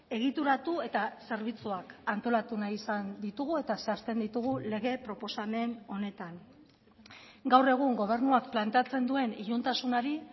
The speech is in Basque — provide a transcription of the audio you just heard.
egituratu eta zerbitzuak antolatu nahi izan ditugu eta zehazten ditugu lege proposamen honetan gaur egun gobernuak planteatzen duen iluntasunari